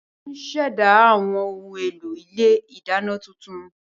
Wọ́n ó ṣẹ̀dá àwọn ohun èlò ilé ìdáná tuntun